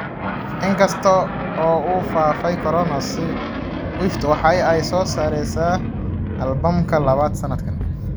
In kasta oo uu faafay Corona, Swift waxa ay soo saaraysaa albamka labaad sanadkan.